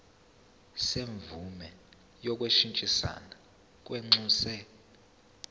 semvume yokushintshisana kwinxusa